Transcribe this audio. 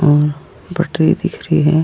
हम बटरी दिख रही है।